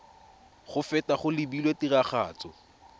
go feta go lebilwe tiragatso